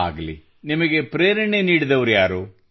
ಆಗಲಿ ನಿಮಗೆ ಪ್ರೇರಣೆ ನೀಡಿದವರಾರು